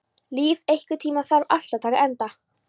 Líf, einhvern tímann þarf allt að taka enda.